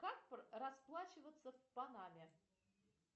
как расплачиваться в панаме